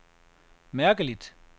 mærkeligt